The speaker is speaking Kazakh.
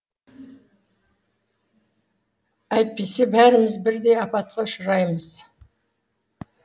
әйтпесе бәріміз бірдей апатқа ұшыраймыз